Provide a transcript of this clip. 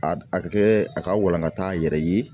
A a ka kɛ a ka walankata a yɛrɛ ye.